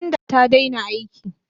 Tanda ta daina aiki.